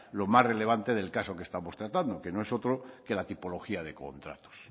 lo más relevante del caso que estamos tratando que no es otro que la tipología de contratos